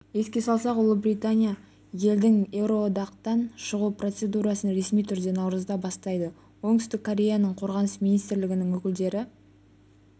еске салсақ ұлыбритания елдің еуроодақтан шығу процедурасын ресми түрде наурызда бастайды оңтүстік кореяның қорғаныс министрлігінің өкілдері